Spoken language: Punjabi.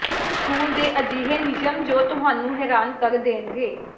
ਸਕੂਲ ਦੇ ਅਜਿਹੇ ਨਿਯਮ ਜੋ ਤੁਹਾਨੂੰ ਹੈਰਾਨ ਕਰ ਦੇਣਗੇ